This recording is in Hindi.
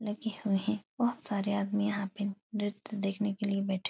लगे हुए हैं। बहोत सारे आदमी यहाँ पे नृत्य देखने के लिये बैठे --